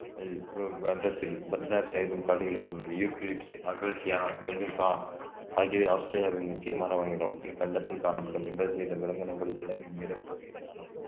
இக்கண்டத்தில் பதினாறு சதவீதம் காடுகளை உள்ளது யூக்கலிப்டஸ் அகசியா மெல்லுக்கா ஆகியவை ஆஸ்திரேலியாவின் முக்கிய மர வகைகளாகும் இக்கண்டத்தில் காணப்படும் எம்பது சதவீத விலங்கினங்கள் உலகின் பிறப்பகுதியில் காணப்படு~